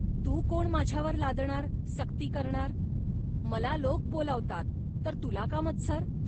तू कोण माझ्यावर लादणार, सक्ती करणार. मला लोक बोलावतात, तर तुला का मत्सर